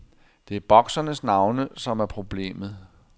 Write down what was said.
Det er boksernes navne, som er problemet.